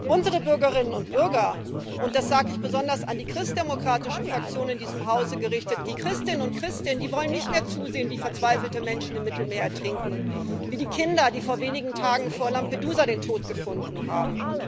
Unsere Bürgerinnen und Bürger das sage ich besonders an die christdemokratische Fraktion in diesem Hause gerichtet die Christinnen und Christen wollen nicht mehr zusehen, wie verzweifelte Menschen im Mittelmeer ertrinken wie die Kinder, die vor wenigen Tagen vor Lampedusa den Tod gefunden haben.